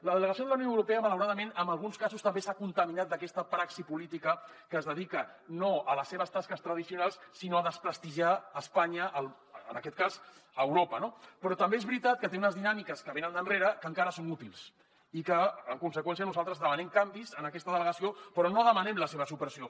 la delegació de la unió europea malauradament en alguns casos també s’ha contaminat d’aquesta praxi política que es dedica no a les seves tasques tradicionals sinó a desprestigiar espanya en aquest cas a europa no però també és veritat que té unes dinàmiques que venen d’enrere que encara són útils i que en conseqüència nosaltres demanem canvis en aquesta delegació però no demanem la seva supressió